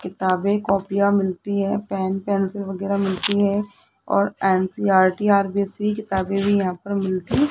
किताबें कॉपियां मिलती है पेन पेंसिल वगैरा मिलती है और एन_सी_ई_आर_टी आर_बी_सी किताबें भी यहां पर मिलती --